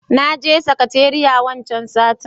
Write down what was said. naje sakateriya wancan satin.